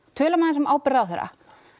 tölum aðeins um ábyrgð ráðherra